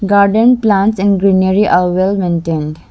garden plants and greenery are well maintained.